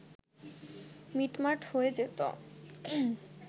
মিটমাট হয়ে যেত